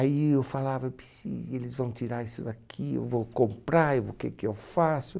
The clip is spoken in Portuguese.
Aí eu falava, eu precis, e eles vão tirar isso daqui, e eu vou comprar, e eu vou o que que eu faço?